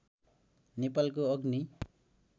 नेपालको अग्नि